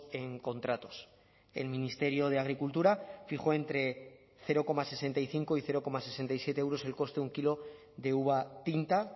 en contratos el ministerio de agricultura fijó entre cero coma sesenta y cinco y cero coma sesenta y siete euros el coste de un kilo de uva tinta